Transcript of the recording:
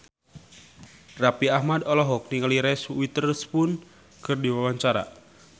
Raffi Ahmad olohok ningali Reese Witherspoon keur diwawancara